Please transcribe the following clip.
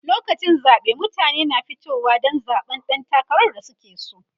lokacin zaɓe mutane na fitowa Dan zaɓan ɗan takarar da suke so